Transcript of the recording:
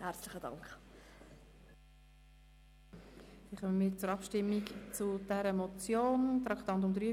Wir kommen zu den Abstimmungen zur Motion unter Traktandum 43: